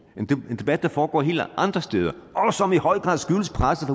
en debat der foregår helt andre steder og som i høj grad skyldes presset